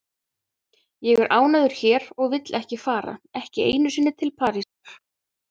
Ég er ánægður hér og vil ekki fara, ekki einu sinni til Parísar.